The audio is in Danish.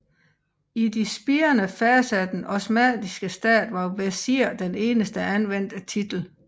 I de spirende faser af den osmanniske stat var vesir den eneste anvendte titel